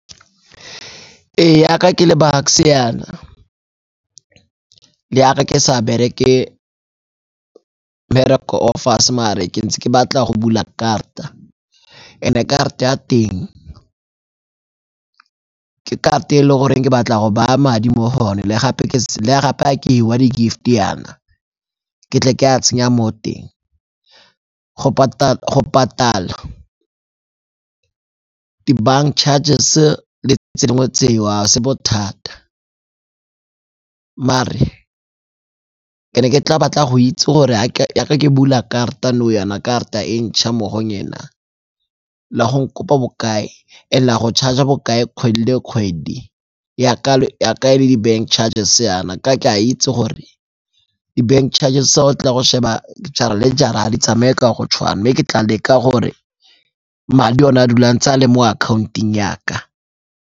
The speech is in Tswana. Ee, yaka ke le Bucks-e yana, yaka ke sa bereke mmereko o fase mare ke ntse ke batla go bula karata, and-e karate ya teng ke karate e le goreng ke batla go baya madi mo go one, le gape ha ke hiwa di-gift-e yana ke tle ke a tsenya mo teng. Go patala di-bank charges le tse dingwe tseo a se bothata mare ke ne ke tla batla go itse gore ha ke bula karata nou yana karata e ntšha mo go le go nkopa bokae and le a go charger bokae kgwedi le kgwedi yaka e le di-bank charges yana, ka ke a itse gore di bank charges ga o tla go sheba jara le jara ga di tsamaye ka go tshwana mme ke tla leka gore madi one a dula a ntse a le mo akhaonteng ya ka.